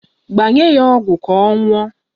Gbanye ya ọgwụ ka ọ ṅụọ